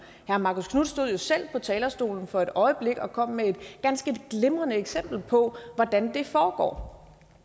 herre marcus knuth stod jo selv på talerstolen for et øjeblik siden og kom med et ganske glimrende eksempel på hvordan det foregår